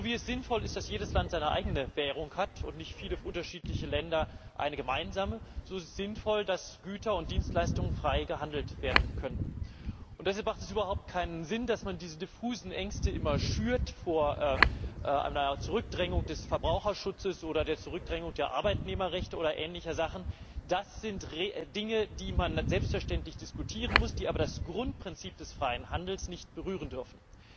So wie es sinnvoll ist, dass jedes Land seine eigene Währung hat und nicht viele unterschiedliche Länder eine gemeinsame, so ist es sinnvoll, dass Güter und Dienstleistungen frei gehandelt werden können. Deshalb macht es überhaupt keinen Sinn, dass man diese diffusen Ängste immer schürt vor einer Zurückdrängung des Verbraucherschutzes oder der Zurückdrängung der Arbeitnehmerrechte oder ähnliche Sachen das sind Dinge, die man dann selbstverständlich diskutieren muss, die aber das Grundprinzip des freien Handels nicht berühren dürfen.